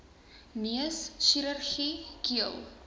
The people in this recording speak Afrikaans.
neus chirurgie keel